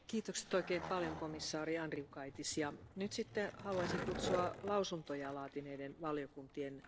Frau Präsidentin! Antibiotikaresistente Keime eine immense, ständig wachsende Bedrohung für Gesundheit und Leben.